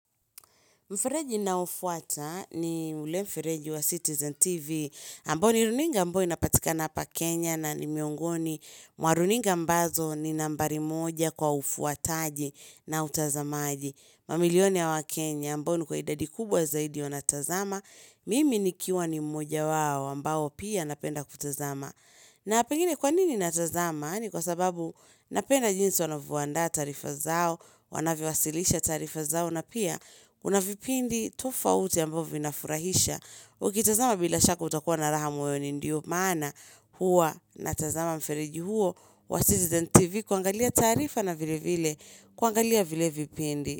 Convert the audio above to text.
Mfereji ninaoufuata ni ule mfereji wa Citizen TV, ambao ni runinga ambayo inapatikana hapa Kenya na ni miongoni. Mwa runinga ambazo ni nambari moja kwa ufuataji na utazamaji. Mamilioni ya wakenya ambayo ilikuwa idadi kubwa zaidi wanatazama. Mimi nikiwa ni mmoja wao ambao pia napenda kutazama. Na pengine kwa nini natazama ni kwa sababu napenda jinsi wanavoandaa taarifa zao, wanavyowasilisha taarifa zao na pia. Huna vipindi tofauti ambavyo vinafurahisha Ukitazama bila shaka utakuwa na raha moyoni ndio maana huwa na tazama mfereji huo wa Citizen TV kuangalia taarifa na vile vile kuangalia vile vipindi.